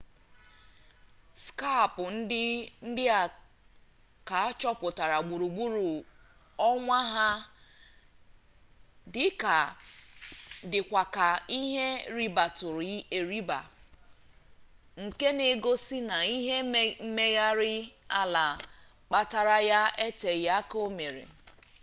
skap ndị a ka achọpụtara gburugburu ọnwa ha dịkwa ka ihe ribatụrụ eriba nke na-egosi na ihe mmegharị ala kpatara ya eteghị aka omere